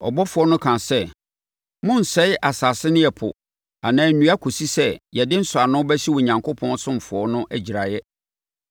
Ɔbɔfoɔ no kaa sɛ, “Monnsɛe asase ne ɛpo anaa nnua kɔsi sɛ yɛde nsɔano bɛhyɛ Onyankopɔn asomfoɔ no agyiraeɛ.”